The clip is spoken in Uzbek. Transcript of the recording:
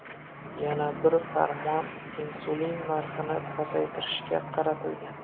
Yana bir farmon insulin narxini pasaytirishga qaratilgan.